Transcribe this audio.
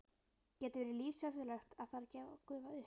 Getur verið lífshættulegt ef þær gufa upp.